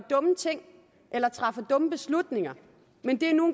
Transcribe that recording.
dumme ting eller træffer dumme beslutninger men det er nu